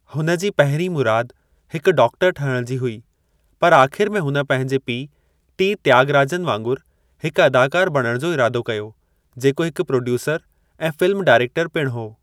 हुन जी पहिरीं मुराद हिकु डॉक्टरु ठहिण जी हुई, पर आख़िर में हुन पंहिंजे पीउ टी. त्यागराजन वांगुरु हिकु अदाकारु बणण जो इरादो कयो, जेको हिकु प्रोड्यूसरु ऐं फ़िल्मु डायरेक्टरु पिणु हो।